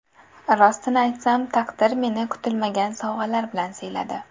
Rostini aytsam, taqdir meni kutilmagan sovg‘alar bilan siyladi.